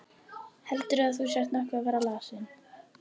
Heldurðu að þú sért nokkuð að verða lasinn?